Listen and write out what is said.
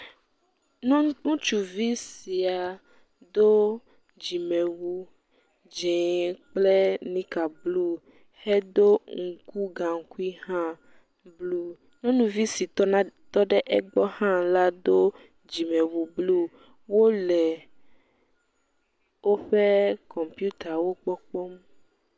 Nyɔnu ŋutsuvi si ya do dzimewu dzɛ̃ kple nika blu hedo ŋku gaŋkui hã blu. Nyɔnuvi si tɔna ɖe egbɔ hã la do dzimewui blu, wole woƒe kɔmpitawo gbɔ kpɔm.